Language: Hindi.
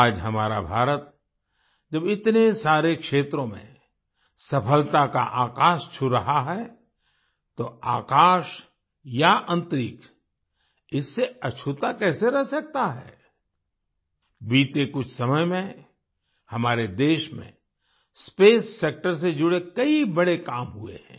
आज हमारा भारत जब इतने सारे क्षेत्रों में सफलता का आकाश छू रहा है तो आकाश या अन्तरिक्ष इससे अछूता कैसे रह सकता है बीते कुछ समय में हमारे देश में स्पेस सेक्टर से जुड़े कई बड़े काम हुए हैं